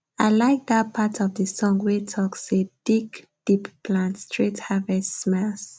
i like dat part of the song wey talk say dig deep plant straight harvest smiles